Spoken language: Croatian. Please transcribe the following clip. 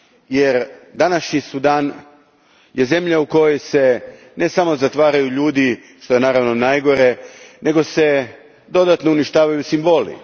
Jer današnji Sudan je zemlja u kojoj se ne samo zatvaraju ljudi, što je naravno najgore, nego se dodatno uništavaju simboli.